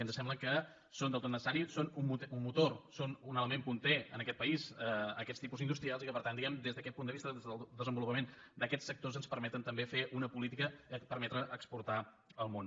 ens sembla que són del tot necessaris són un motor són un element capdavanter en aquest país aquests tipus industrials i per tant des d’aquest punt de vista del desenvolupament d’aquests sectors ens permeten també fer una política per permetre exportar al món